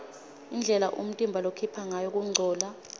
indlela umtimba lokhipha ngayo kungcola